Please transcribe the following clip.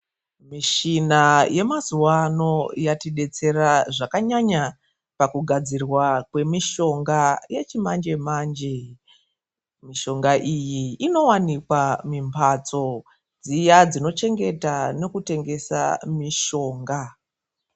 Mishina yemazuwa ano yatidetsera zvakanyanya pakugadzirwa kwemishonga yechimanjemanje. Mishonga iyi inowanikwa mumhatso dziya dzinochengeta nekutengesa mishonga.